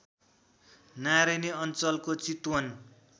नारायणी अञ्चलको चितवन